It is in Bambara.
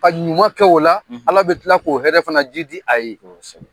Ka ɲuman kɛ o la, Ala bɛ kila k'o hɛrɛ fana ji di a ye. Kosɛbɛ.